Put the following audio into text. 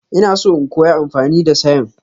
Ina so in koya amfani da sayen.